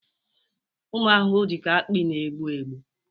ụmụ ahụhụ dị ka akpị na-egbu egbu